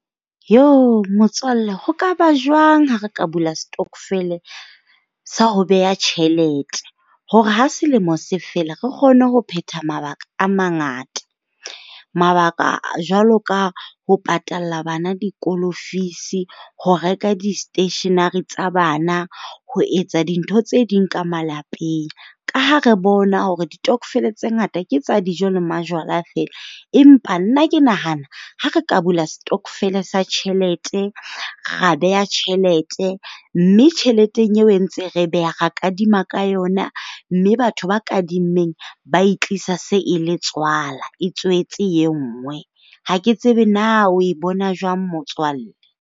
Motswalle ho ka ba jwang ha re ka bula stockvele sa ho beha tjhelete? Hore ha selemo se fela re kgone ho phetha mabaka a mangata? Mabaka jwalo ka ho patalla bana dikolo fees-i, ho reka di-stationery tsa bana ho etsa dintho tse ding ka malapeng. Ka ha re bona hore ditokofele tse ngata ke tsa dijo le majwala feela. Empa nna ke nahana ha re ka bula stockvele sa tjhelete, ra beha tjhelete, mme tjheleteng eo e ntse re beha ra kadima ka yona mme batho ba kadimmeng ba e tlisa se e le tswala, e tswetse e nngwe. Ha ke tsebe na o e bona jwang motswalle.